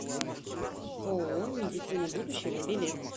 ооо медицина будущего билет